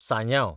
साजांव